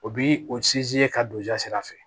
O bi o ka don ja sira fɛ